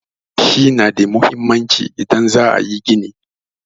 Yashi na da muhimmanci idan za a yi gini.